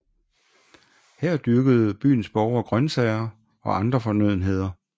Her dyrkede byens borgere grøntsager og andre fornødenheder